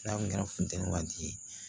N'a kun kɛra funteni waati ye